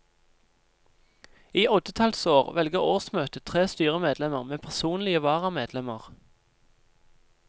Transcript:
I oddetallsår velger årsmøtet tre styremedlemmer med personlige varamedlemmer.